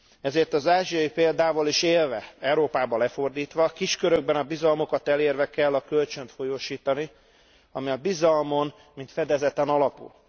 Ezért az ázsiai példával is élve, Európában lefordítva kis körökben a bizalmukat elérve kell a kölcsönt folyósítani, ami inkább a bizalmon, mint fedezeten alapul.